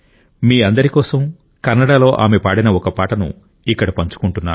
మీ అందరి కోసం కన్నడలో ఆమె పాడిన ఒక పాటను ఇక్కడ పంచుకుంటున్నాను